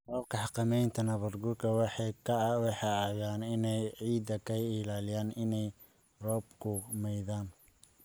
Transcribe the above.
Qaababka xakamaynta nabaadguurku waxay caawiyaan inay ciidda ka ilaaliyaan inay roobku maydhaan.